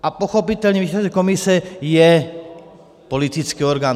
A pochopitelně výsledek komise je politický orgán.